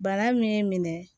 Bana min y'i minɛ